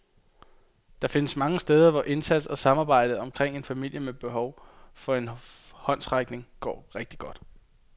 Der findes mange steder, hvor indsats og samarbejdet omkring en familie med behov for en håndsrækning går rigtig godt.